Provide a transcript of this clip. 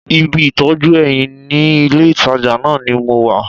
Ibi ìtọ́jú eyín ní ilé-ìtàjà náà ni mo wà